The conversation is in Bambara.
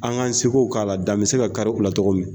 An k'an sekow k'a la dan be se ka kari u la tɔgɔ min